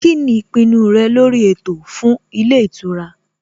Kíni ìpinnu rẹ lórí ètò fún ilé ìtura?